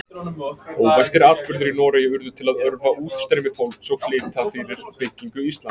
Óvæntir atburðir í Noregi urðu til að örva útstreymi fólks og flýta fyrir byggingu Íslands.